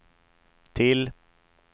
till